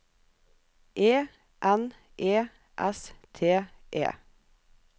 E N E S T E